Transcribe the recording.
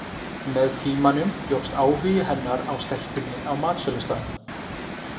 Með tímanum jókst áhugi hennar á stelpunni á matsölustaðnum.